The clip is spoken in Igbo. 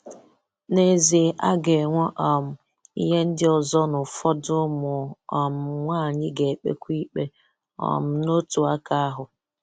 N'ezie a ga-enwe um ihe ndị ọzọ na ụfọdụ ụmụ um nwanyị ga-ekpekwa ikpe um n'otu aka ahụ.